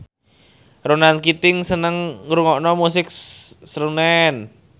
Ronan Keating seneng ngrungokne musik srunen